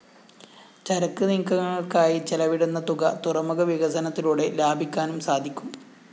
ചരക്ക് നീക്കങ്ങള്‍ക്കായി ചെലവിടുന്ന തുക തുറമുഖ വികസനത്തിലൂടെ ലാഭിക്കാനും സാധിക്കും